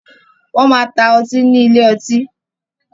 Wọ́n máa ta ọtí ní ilé ọtí.